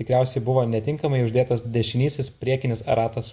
tikriausiai buvo netinkamai uždėtas dešinysis priekinis ratas